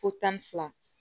Fo tan ni fila